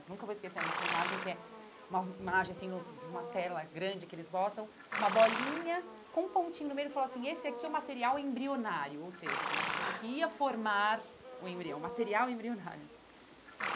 Nunca vou esquecer dessa imagem, que é uma imagem assim, num numa tela grande que eles botam, uma bolinha com um pontinho no meio e ele falou assim, esse aqui é o material embrionário, ou seja, era uma coisa que ia formar o embrião, material embrionário.